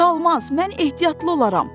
Çalmaz, mən ehtiyatlı olaram.